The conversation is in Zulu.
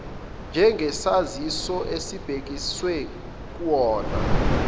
njengesaziso esibhekiswe kuwona